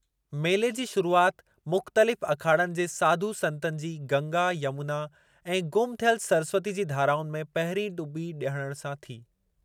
मेले जी शुरूआति मुख़्तलिफ़ अखाड़नि जे साधु संतनि जी गंगा, यमुना ऐं गुम थियल सरस्वती जी धाराउनि में पहिरीं टुॿी हणण सां थी।